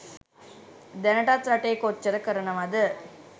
දැනටත් රටේ කොච්චර කරනවද.